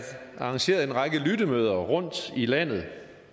arrangeret en række lyttemøder rundtom i landet